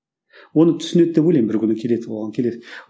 оны түсінеді деп ойлаймын бір күні келеді оған келеді